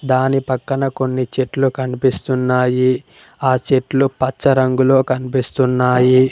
దాని పక్కన కొన్ని చెట్లు కన్పిస్తున్నాయి ఆ చెట్లు పచ్చ రంగులో కన్పిస్తున్నాయి.